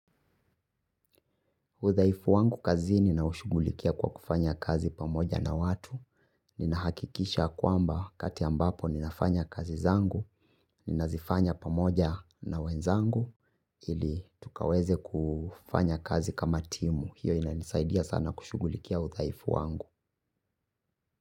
Udaifu wangu kazini naushugulikia kwa kufanya kazi pamoja na watu. Ninahakikisha kwamba kati ambapo ni nafanya kazi zangu, ni nazifanya pamoja na wenzangu, ili tukaweze kufanya kazi kama timu. Hiyo inanisaidia sana kushugulikia udaifu wangu.